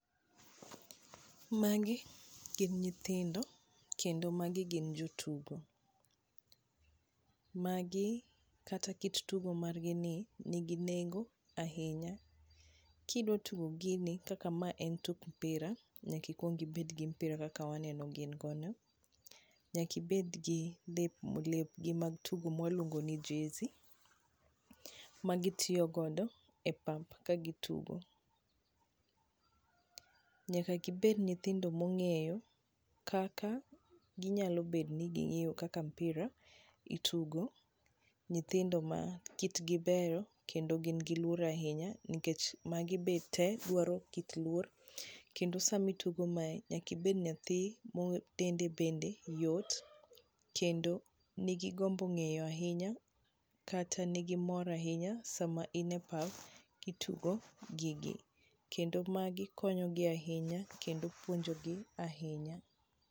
Magi gin nyithindo, kendo magi gin jo tugo. Magi kata kit tugo margini ni nigi nengo ahinya. Kidwa tugo gini, kaka mae en tuk mpira, nyaka ikuong ibed gi mpira kaka waneno gin go no. Nyaka ibed gi lepw lepgi mag tugo mwa luongo ni jersey m gitiyo godo e pap ka gitugo. Nyaka gibed nyithindo mong'eyo kaka ginyalo bet ni ging'eyo kaka mpira itugo, nyithindo ma kitgi beyo kendo gin gi luor ahinya niekch magi be te dwaro kit luor, kendo sama itugo mae nyaka ibed nyathi mo dende bende yot kendo nigi gombo ng'eyo ahinya kata nigi mor ahinya sama in e pap kitugo gigi. Kendo magi konyo gi ahinya kendo puonjo gi ahinya.